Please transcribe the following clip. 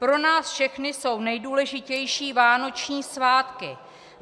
Pro nás všechny jsou nejdůležitější vánoční svátky.